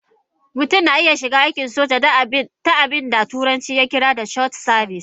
Mutum na iya shiga aikin soja ta abin da turanci ya kira short service.